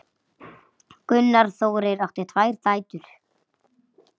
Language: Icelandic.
Gunnar Þórir átti tvær dætur.